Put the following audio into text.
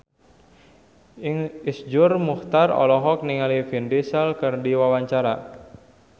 Iszur Muchtar olohok ningali Vin Diesel keur diwawancara